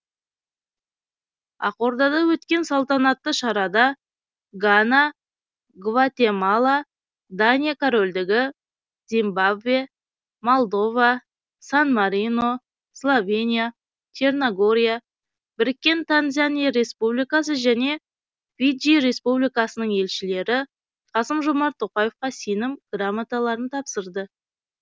ақордада өткен салтанатты шарада гана гватемала дания корольдігі зимбабве молдова сан марино словения черногория біріккен танзания республикасы және фиджи республикасының елшілері қасым жомарт тоқаевқа сенім грамоталарын тапсырды